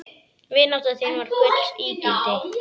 Vinátta þín var gulls ígildi.